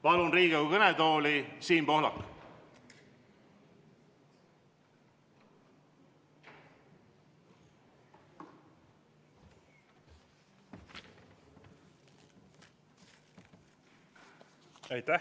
Palun Riigikogu kõnetooli Siim Pohlaku!